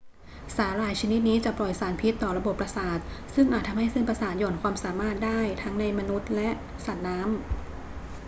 สาหร่ายชนิดนี้จะปล่อยสารพิษต่อระบบประสาทซึ่งอาจทำให้เส้นประสาทหย่อนความสามารถได้ทั้งในมนุษย์และสัตว์น้ำ